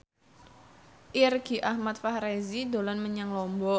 Irgi Ahmad Fahrezi dolan menyang Lombok